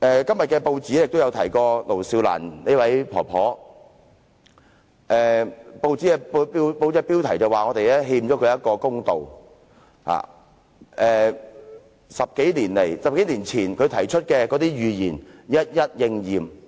今天的報章也提及盧少蘭婆婆，標題指我們欠她一個公道，因她在10多年前提出的預言，現已一一應驗。